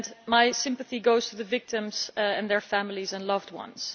My sympathy goes to the victims and their families and loved ones.